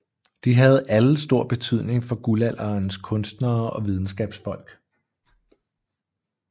De havde alle stor betydning for Guldalderens kunstnere og videnskabsfolk